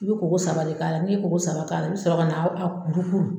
I bi ko ko saba de k'a la, n'i ye ko ko saba k'a la, i bi sɔrɔ kana a kurukuru